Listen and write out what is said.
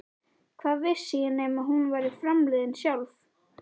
Hvað vissi ég nema hún væri framliðin sjálf?